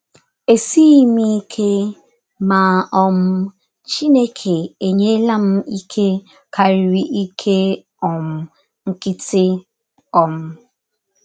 Esighị m ike, ma um, Chineke enyela m ike karịrị ike um nkịtị. um